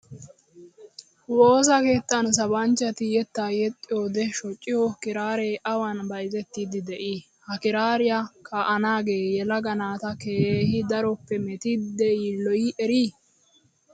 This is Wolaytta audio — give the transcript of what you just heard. Woosa keettan sabanchchati yettaa yexxiyoode shociyo kiraaree awan bayizettiddi de''ii? Ha kiraariyaa kaa''anaage yelaga naata keehi daroppe metiidi yiilloyi erii?